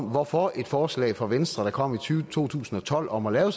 hvorfor et forslag fra venstre der kom i to tusind og tolv om at lave